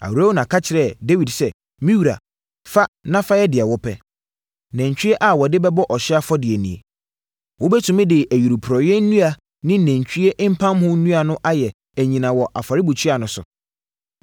Arauna ka kyerɛɛ Dawid sɛ, “Me wura fa na fayɛ deɛ wopɛ. Nantwie a wɔde bɛbɔ ɔhyeɛ afɔdeɛ nie. Wobɛtumi de ayuporeeɛ nnua ne nantwie mpamho nnua no ayɛ anyina wɔ afɔrebukyia no so.